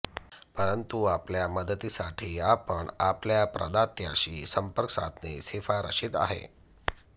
परंतु आपल्या मदतीसाठी आपण आपल्या प्रदात्याशी संपर्क साधणे शिफारसित आहे